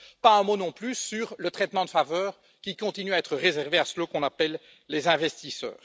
Pas un mot non plus sur le traitement de faveur qui continue à être réservé à ceux qu'on appelle les investisseurs.